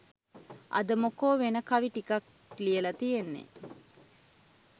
අද මොකෝ වෙන කවි ටිකක් ලියලා තියෙන්නේ